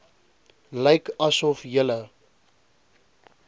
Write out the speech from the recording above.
lyk asof julle